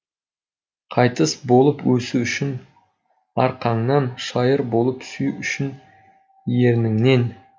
қайыс болып осу үшін арқаңнан шайыр болып сүю үшін ерніңнен